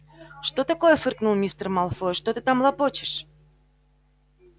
что такое фыркнул мистер малфой что ты там лопочешь